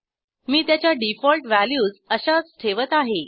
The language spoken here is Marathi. मी त्याच्या डिफॉल्ट व्हॅल्यूज अशाच ठेवत आहे